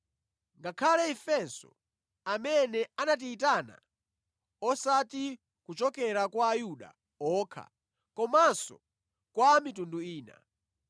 ngakhale ifenso amene anatiyitana osati kuchokera kwa Ayuda okha komanso kwa a mitundu ina.